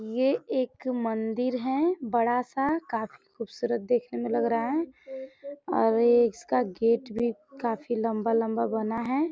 ये एक मंदिर है बड़ा सा काफी खूबसूरत देखने में लग रहा है और ये इसका गेट भी काफी लंबा-लंबा बना है।